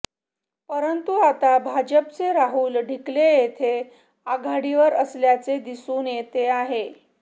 परंतु आता भाजपचे राहुल ढिकले येथे आघाडीवर असल्याचे दिसून येते आहे